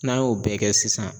N'an y'o bɛɛ kɛ sisan